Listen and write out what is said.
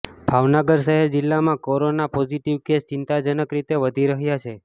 ભાવનગર શહેર જિલ્લામાં corona positive case ચિંતાજનક રીતે વધી રહ્યા છે